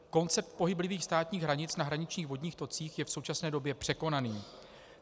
Koncept pohyblivých státních hranic na hraničních vodních tocích je v současné době překonaný.